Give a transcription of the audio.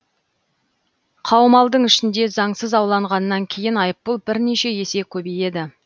қаумалдың ішінде заңсыз аулағаннан кейін айыппұл бірнеше есе көбейеді